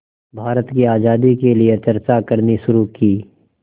भारत की आज़ादी के लिए चर्चा करनी शुरू की